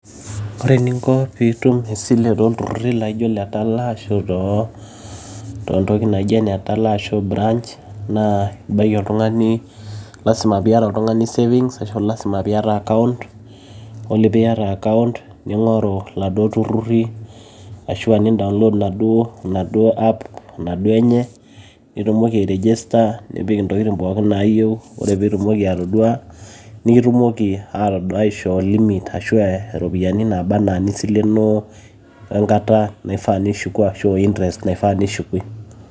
Ore ening'o pee itum esile tolturrurri laijio ele Tala naa ashu too ntoki naijio ene Tala ashu branch, naa ibaki oltung'ani lasima piata oltung'ani savings ashu lasima piata account ore pee Miata account nig'oru iladuo turrurri ashu enidaolood enaduo AP Ina duo enye nitumoki airejisa nipik entokitin' pooki nayiu ore pee itumoki atodua nimitumoki aitodua aishoo limit ashu aishoo iropiyiani naaba enaa enisilenoo wengata nisileno wengata Nishuk ashu einterest naifaa nishumie.